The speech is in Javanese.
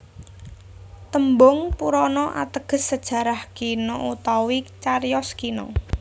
Tembung Purana ateges sajarah kina utawi cariyos kina